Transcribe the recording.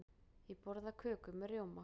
Ég borða köku með rjóma.